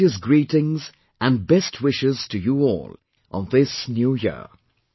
My heartiest greetings and best wishes to you all on this New Year